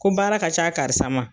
Ko baara ka ca karisa ma.